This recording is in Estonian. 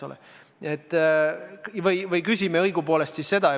Või püstitame küsimuse õigupoolest nii.